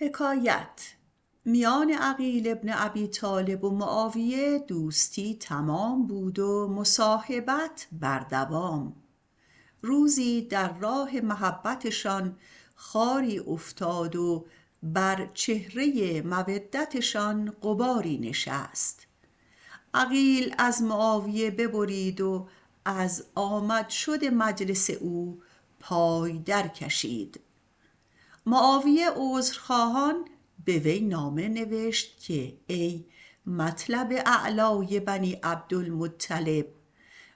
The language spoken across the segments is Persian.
میان معاویه و عقیل بن ابی طالب دوستی تمام بود و مصاحبت بر دوام روزی در راه محبتشان خاری افتاد و بر چهره مودتشان غباری نشست عقیل از معاویه ببرید و از آمد و شد مجلس او پای درکشید معاویه عذرخواهان به وی نوشت که ای مطلب اعلای بنی عبدالمطلب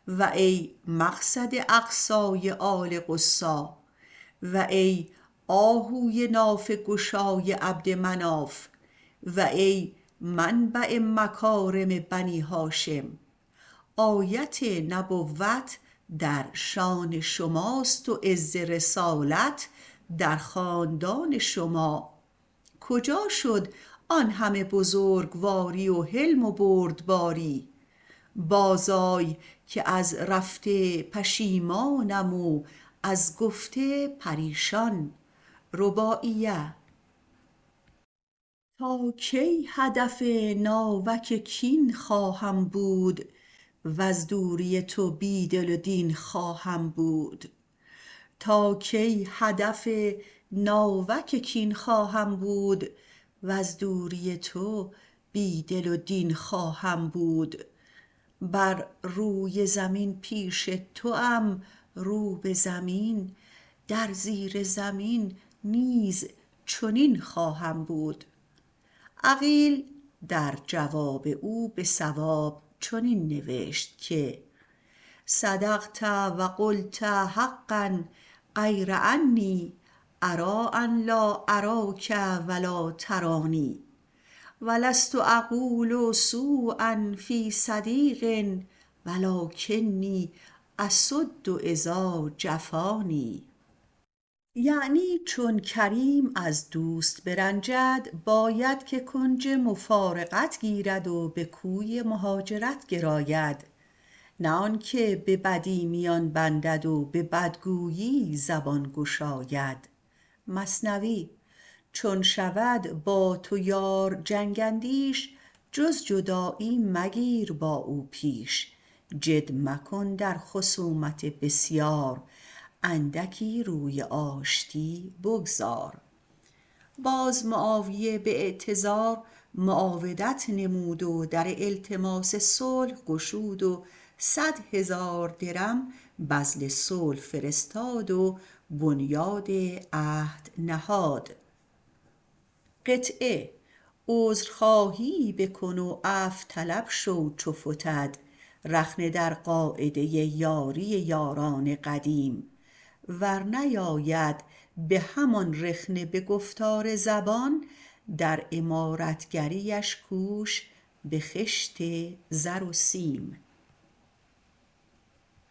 و ای مقصد اقصای آل قصی و ای آهوی نافه گشای عبدمناف و ای منبع مکارم بنی هاشم آیت نبوت در شأن شماست و عز رسالت در خاندان شما کجا شد آن همه بزرگواری و حلم و بردباری باز آی که از رفته پشیمانم و از گذشته پریشان تا کی هدف ناوک کین خواهم بود وز دوری تو بی دل و دین خواهم بود بر روی زمین پیش توام رو به زمین در زیر زمین نیز چنین خواهم بود عقیل به وی نوشت که صدقت و قلت حقا غیر انی اری ان لا اراک و لا ترانی و لست اقول سؤ فی صدیق و لکنی اصد اذا جفانی یعنی چون کریم از دوستی برنجد باید که کنج مفارقت گیرد و به کوی مهاجرت گراید نه آنکه به بدی میان بندد و به بدگویی زبان گشاید چون شود با تو یار جنگ اندیش جز جدایی مگیر با او پیش جد مکن در خصومت بسیار اندکی روی آتشی بگذار باز معاویه اعتذار معاودت و التماس صلح کرد و صد هزار درم بذل صلح فرستاد و بنیاد عهد نهاد عذرخواهی بکن و عفو طلب شو چو فتد رخنه در قاعده یاری یاران قدیم ور نیاید به هم آن رخنه به گفتار زبان در عمارتگریش کوش به خشت زر و سیم